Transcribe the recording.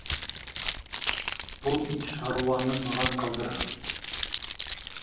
бұл ит шаруаны маған қалдыр